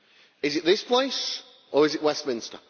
Is it this place, or is it Westminster?